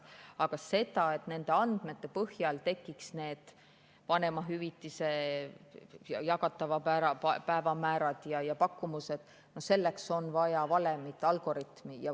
Aga selleks, et nende andmete põhjal tekiks need jagatava vanemahüvitise päevamäärad ja pakkumused, on vaja valemit, algoritmi.